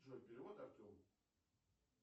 джой перевод артему